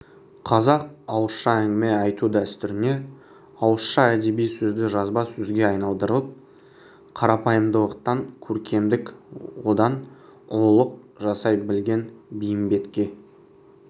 қазақ ауызша әңгіме айту дәстүріне ауызша әдеби сөзді жазба сөзге айналдырып қарапайымдылықтан көркемдік одан ұлылық жасай білген бейімбетке